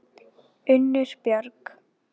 Unnur Björg.